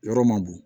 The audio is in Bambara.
Yɔrɔ ma dun